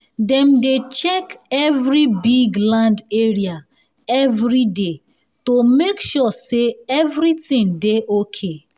dem dey check every big land area every day to make sure say everything dey okay